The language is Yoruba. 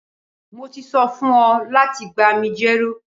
Mo ti so fun o lati gba mi jero